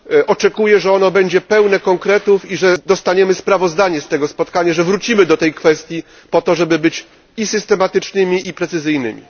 Oczekuję, że będzie ono pełne konkretów, dostaniemy sprawozdanie z tego spotkania i że wrócimy do tej kwestii, po to, żeby być i systematycznymi, i precyzyjnymi.